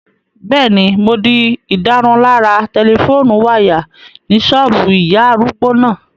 Bẹ́ẹ̀ni, mo di ìdárunlárà tẹlifóònù wáyà ní ṣọ́ọ̀bù ìyá arúgbó náà